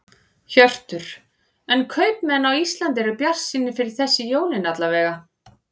Hjörtur: En kaupmenn á Íslandi eru bjartsýnir fyrir þessi jólin alla vega?